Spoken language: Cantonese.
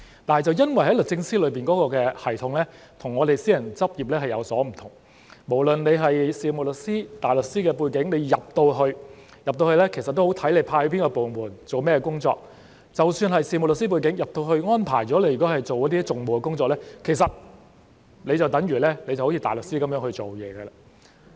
但卻因為律政司的系統與私人執業有所不同，無論是有事務律師或大律師的背景——加入後也視乎被派到哪個部門、做甚麼工作——即使是有事務律師的背景，加入後如果被安排做訟務的工作，其實就有如大律師的工作。